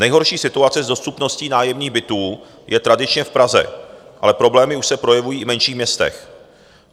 Nejhorší situace s dostupností nájemních bytů je tradičně v Praze, ale problémy už se projevují i v menších městech.